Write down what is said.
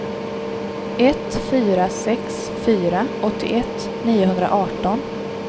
ett fyra sex fyra åttioett niohundraarton